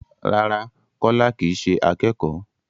Rárá, Kọ́lá kì í ṣe akẹ́kọ̀ọ́.